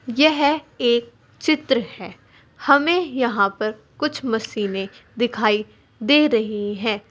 यह एक चित्र है हमें यहां पर कुछ मशीनें दिखाई दे रही हैं।